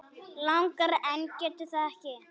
Langar en getur það ekki.